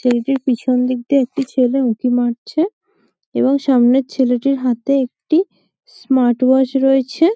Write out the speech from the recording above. ছেলেটির পেছন দিক থেকে একটি ছেলে উঁকি মারছে এবং সামনের ছেলের হাতে একটি স্মার্ট ওয়াচ রয়েছে --